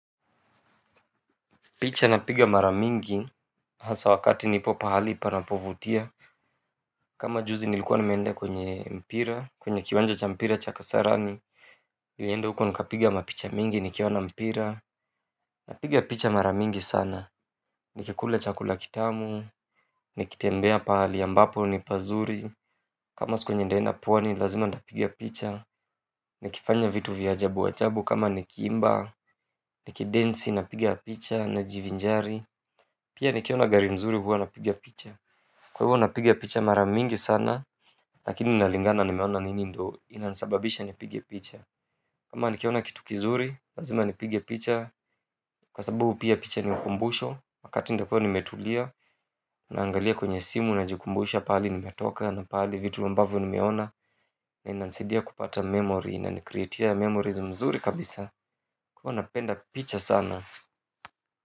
Picha napiga mara mingi, hasa wakati nipo pahali ipanapovutia kama juzi nilikuwa nimeenda kwenye mpira, kwenye kiwanja cha mpira cha kasarani nilienda huko nikapiga mapicha mingi, nikiona mpira. Napiga picha mara mingi sana, nikikula chakula kitamu, nikitembea pahali ambapo ni pazuri kama siku yenye ntaenda pwani, lazima ntapiga picha nikifanya vitu vya ajabu ajabu kama nikiimba, nikidensi, napiga picha najivinjari pia nikiona gari mzuri huwa napiga picha kwa hivyo napigia picha mara mingi sana, lakini inalingana nimeona nini ndo inanisababisha nipigia picha kama nikiona kitu kizuri, lazima nipigia picha, kwa sababu pia picha ni ukumbusho wakati ntakuwa nimetulia, naangalia kwenye simu najikumbusha, pahali nimetoka, na pahali vitu ambavyo nimeona na inanisidia kupata memory, inanicreatia memories mzuri kabisa huwa napenda picha sana.